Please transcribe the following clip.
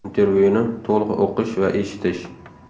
Intervyuni to‘liq o‘qish va eshitish .